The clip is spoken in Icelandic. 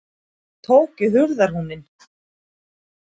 Hann tók í hurðarhúninn.